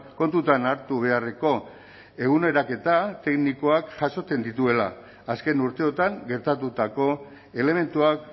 kontutan hartu beharreko eguneraketa teknikoak jasotzen dituela azken urteotan gertatutako elementuak